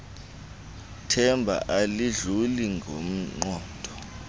themba alidluli ngqondo